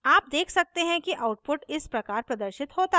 आप देख सकते हैं कि output इस प्रकार प्रदर्शित होता है: